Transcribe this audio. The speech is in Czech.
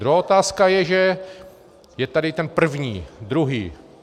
Druhá otázka je, že je tady ten první, druhý.